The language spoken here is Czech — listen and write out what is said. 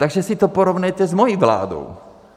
Takže si to porovnejte s mojí vládou.